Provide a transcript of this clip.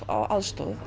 á aðstoð